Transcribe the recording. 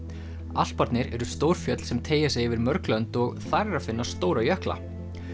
Alparnir eru stór fjöll sem teygja sig yfir mörg lönd og þar er að finna stóra jökla